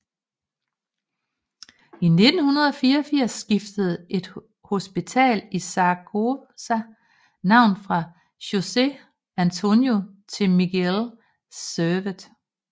I 1984 skiftede en hospital i Zaragoza navn fra José Antonio til Miguel Servet